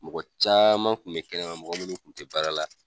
Mɔgɔ caman kun be kɛnɛ ma mɔgɔ minnu kun te baara la